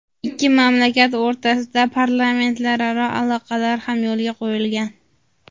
Ikki mamlakat o‘rtasida parlamentlararo aloqalar ham yo‘lga qo‘yilgan.